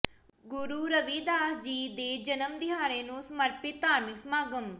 ਗੁਰੂ ਰਵਿਦਾਸ ਜੀ ਦੇ ਜਨਮ ਦਿਹਾੜੇ ਨੂੰ ਸਮਰਪਿਤ ਧਾਰਮਿਕ ਸਮਾਗਮ